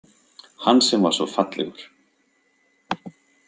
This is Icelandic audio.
Hann sem var svo fallegur.